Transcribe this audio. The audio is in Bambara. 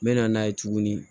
N mɛna n'a ye tuguni